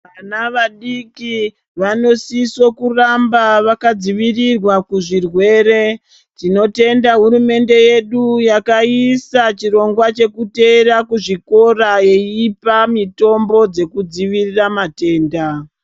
Vana vadiki vanosise kuramba vakadzivirirwa kuzvirwere tinotenda hurumende yedu yakaisa chirongwa chekuteverera kuzvikora yeipa mutombo dzekudzivirira matenda.